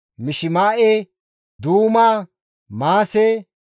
Mishima7e, Duuma, Maase,